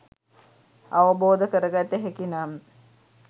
අවබෝධ කරගත හැකි නම්